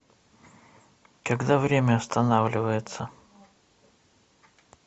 когда время останавливается